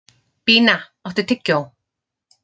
Bína, áttu tyggjó?